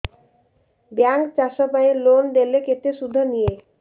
bank ଚାଷ ପାଇଁ loan ଦେଲେ କେତେ ସୁଧ ନିଏ